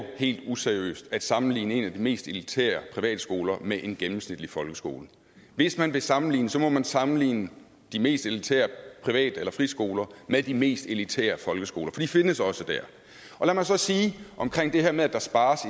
helt useriøst at sammenligne en af de mest elitære privatskoler med en gennemsnitlig folkeskole hvis man vil sammenligne må man sammenligne de mest elitære privat eller friskoler med de mest elitære folkeskoler for de findes også der lad mig så sige om det her med at der spares